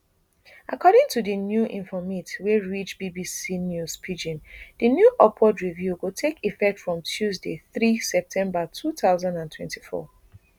according to di new informate wey reach bbc news pidgin di new upward review go take effect from tuesday three september two thousand and twenty-four